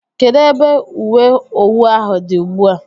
Kedụ ebe ùwé owu ahụ dị ugbua?